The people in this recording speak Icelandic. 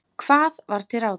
Hvað var til ráða?